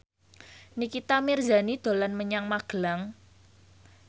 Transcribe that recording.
Nikita Mirzani dolan menyang Magelang